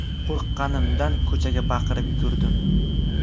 Qo‘rqqanimdan ko‘chaga baqirib yugurdim.